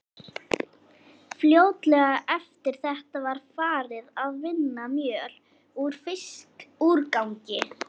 Fljótlega eftir þetta var farið að vinna mjöl úr fiskúrgangi.